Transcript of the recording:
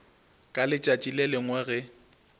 ka letšatši le lengwe ge